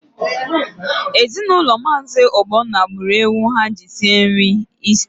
Ezinaụlọ Maazi Ogbonna gburu ewu ha ji sie nri Ista.